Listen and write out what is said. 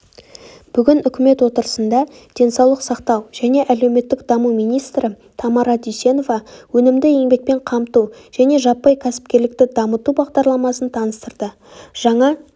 бүгін үкімет отырысында денсаулық сақтау және әлеуметтік даму министрі тамара дүйсенова өнімді еңбекпен қамту және жаппай кәсіпкерлікті дамыту бағдарламасын таныстырды жаңа